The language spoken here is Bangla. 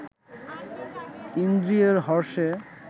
ইন্দ্রিয়ের হর্ষে